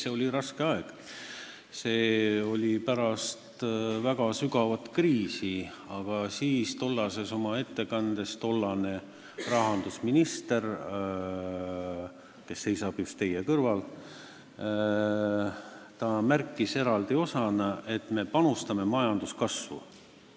See oli raske aeg, see oli pärast väga sügavat kriisi, aga oma tollases ettekandes tollane rahandusminister, kes seisab just teie kõrval, märkis eraldi osas, et me panustame majanduskasvu.